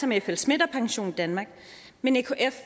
med flsmidth og pensiondanmark men ekf